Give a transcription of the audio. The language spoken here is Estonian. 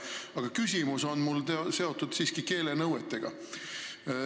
Aga küsimus on mul seotud siiski keelenõuetega.